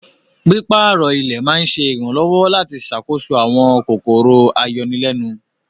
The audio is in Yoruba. Pípàárọ̀ ilẹ̀ ma ǹṣẹ iranlọwọ̀ lati ṣákóso awọn kòkòrò ayọ̀nilẹ̀nun.